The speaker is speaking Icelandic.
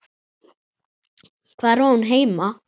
Hvar á hún heima?